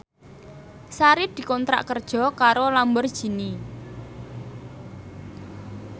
Sari dikontrak kerja karo Lamborghini